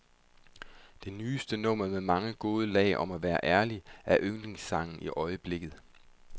Det nyeste nummer med mange gode lag om at være ærlig, er yndlingssangen i øjeblikket.